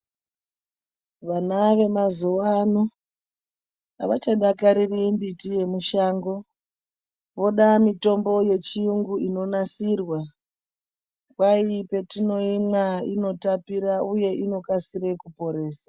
Vana vemazuwa ano avachadakariri mbiti yemushango. Voda mitombo yechiyungu inonasirwa. Kwai petinoimwa inotapira uye inokasire kuporesa.